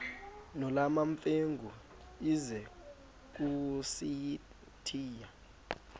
nolwamamfengu ize kusitiya